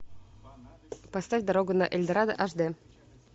поставь дорога на эльдорадо аш д